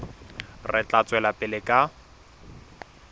re tla tswela pele ka